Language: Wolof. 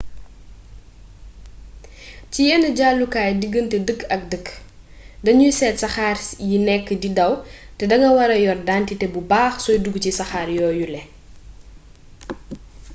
ci yen jàllukaay diggante dëkk ak dëkk danuy set saxaa yi nekk di daw te da nga wara yor dentite bu baax sooy dug ci saxaar yooyule